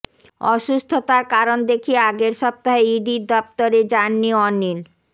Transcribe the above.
অসুস্থতার কারণ দেখিয়ে আগের সপ্তাহে ইডির দফতরে জাননি অনিল